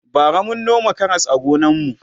bara mun noma Karas a gonan mu